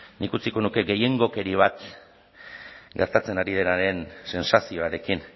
nik utziko nuke gehiengokeri bat gertatzen ari denaren sentsazioarekin